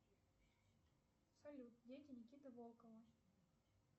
салют дети никиты волкова